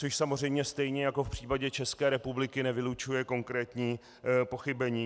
Což samozřejmě stejně jako v případě České republiky nevylučuje konkrétní pochybení.